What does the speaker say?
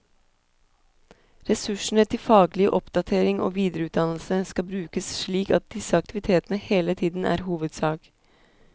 Ressursene til faglig oppdatering og videreutdannelse skal brukes slik at disse aktivitetene hele tiden er hovedsak.